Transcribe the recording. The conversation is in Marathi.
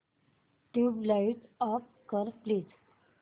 ट्यूबलाइट ऑफ कर प्लीज